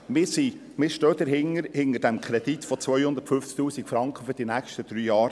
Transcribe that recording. Wir stehen dahinter, hinter dem Kredit von je 250 000 Franken für die nächsten drei Jahre.